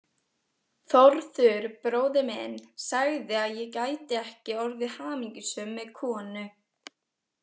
Þórður bróðir minn sagði að ég gæti ekki orðið hamingjusöm með konu.